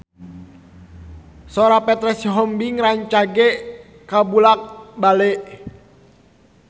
Sora Petra Sihombing rancage kabula-bale